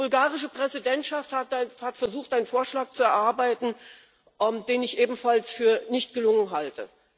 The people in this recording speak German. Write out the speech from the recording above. Die bulgarische Präsidentschaft hat versucht, einen Vorschlag zu erarbeiten, den ich ebenfalls für nicht gelungen halte.